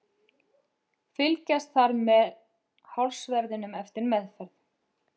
Fylgjast þarf með hársverðinum eftir meðferð.